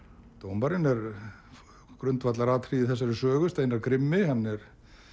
dómarinn er grundvallaratriði í þessari sögu Steinar grimmi hann er